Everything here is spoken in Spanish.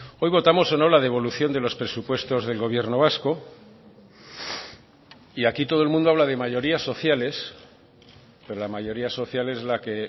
hoy votamos o no la devolución de los presupuestos del gobierno vasco y aquí todo el mundo habla de mayorías sociales pero la mayoría social es la que